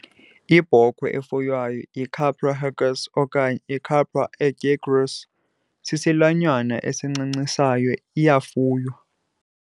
Ibhokhwe efuywayo, "iCapra hircus" okanye "iCapra aegagrus hircus", sisilwanyana esincancisayo iyafuywa.